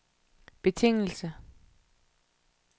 betingelse